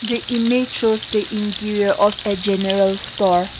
the image shows the interior of a general store.